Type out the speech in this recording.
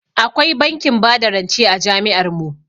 Akwai bankin bada rance a jami'ar mu.